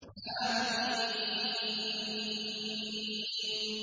حم